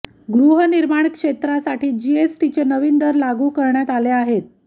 गृहनिर्माण क्षेत्रासाठी जीएसटीचे नवीन दर लागू करण्यात आले आहेत